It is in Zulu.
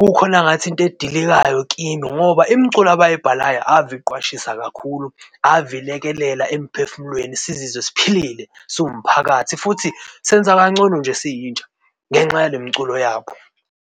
Kukhona ngathi into edilikayo kimi ngoba imiculo abayibhalayo ave iqwashisa kakhulu ave ilekelela emphefumulweni sizizwe siphilile siwumphakathi futhi senza kangcono nje siyintsha ngenxa yale mculo yabo.